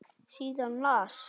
Síðan las hann